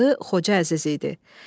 Adı Xoca Əziz idi.